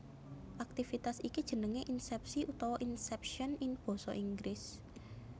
Aktivitas iki jenengé insèpsi utawa inception in Basa Inggris